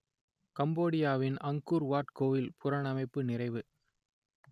கம்போடியாவின் Angkor Wat கோயில் புனரமைப்பு நிறைவு